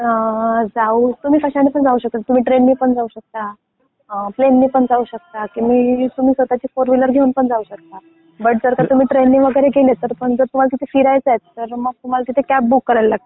अं जाऊ तुम्ही कशाने पण जाऊ शकता. तुम्ही ट्रेनने पण जाऊ शकता, अं प्लेन ने पण जाऊ शकता, तुम्ही स्वतःची फोरविलर घेऊन पण जाऊ शकता. बट जर का तुम्ही ट्रेन ने वगैरे गेले पण मग तुम्हाला तिथे फिरायचं आहे तर मग तुम्हाला तिथे कॅब बुक करावी लागते.